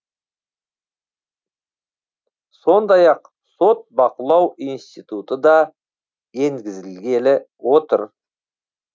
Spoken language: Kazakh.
сондай ақ сот бақылау институты да енгізілгелі отыр